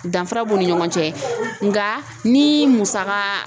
Danfara b'u ni ɲɔgɔn cɛ nka ni musaka